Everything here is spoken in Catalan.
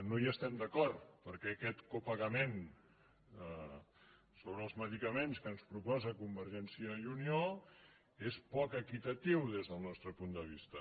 no hi estem d’acord perquè aquest copagament sobre els medicaments que ens proposa convergència i unió és poc equitatiu des del nostre punt de vista